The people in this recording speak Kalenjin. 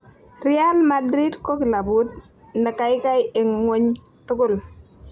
"Real Madrid ko kilabut nekaikai eng ngwony tugul..